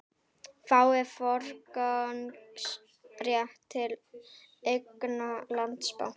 Fái forgangsrétt til eigna Landsbanka